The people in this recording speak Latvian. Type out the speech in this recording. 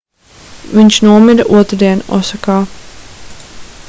viņš nomira otrdien osakā